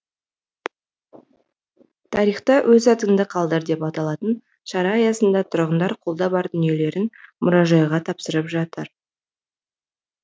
тарихта өз атыңды қалдыр деп аталатын шара аясында тұрғындар қолда бар дүниелерін мұражайға тапсырып жатыр